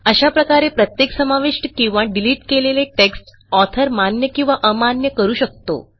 अशा प्रकारे प्रत्येक समाविष्ट किंवा डिलिट केलेले टेक्स्ट ऑथर मान्य किंवा अमान्य करू शकतो